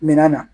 Minan na